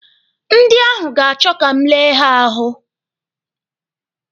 Ndị ahụ ga-achọ ka m lee ha ahụ.